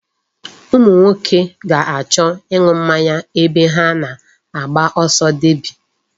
Ụmụ nwoke ga-achọ ịṅụ mmanya ebe ha na-agba ọsọ deby.